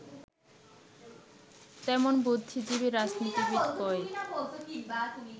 তেমন বুদ্ধিজীবী রাজনীতিবিদ কই